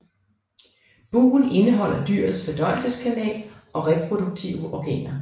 Bugen indeholder dyrets fordøjelseskanal og reproduktive organer